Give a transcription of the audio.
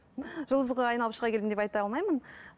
жұлдызға айналып шыға келдім деп айта алмаймын